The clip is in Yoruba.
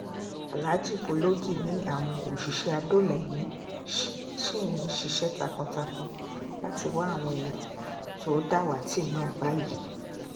aláàjì bológì ni àwọn òṣìṣẹ́ àdọ́ọlá ẹ̀mí ṣì ń ṣiṣẹ́ takuntakun láti wá àwọn èèyàn tó dàwátì náà báyìí